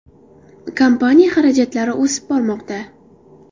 Kompaniya xarajatlari o‘sib bormoqda.